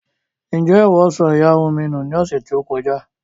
Ǹjẹ́ ìwọ sọ ìyarun mi nù ní ọ̀sẹ̀ tí ó kọjá